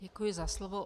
Děkuji za slovo.